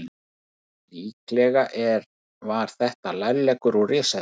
Líklega var þetta lærleggur úr risaeðlu.